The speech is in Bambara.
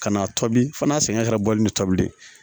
Ka n'a tobi fo n'a sɛgɛn kɛra bɔli ne tobilen